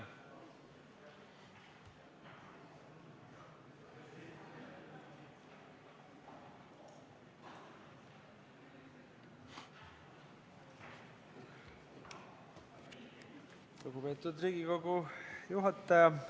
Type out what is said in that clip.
Lugupeetud Riigikogu juhataja!